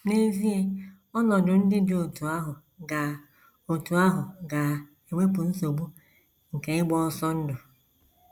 N’ezie, ọnọdụ ndị dị otú ahụ ga otú ahụ ga - ewepụ nsogbu nke ịgba ọsọ ndụ.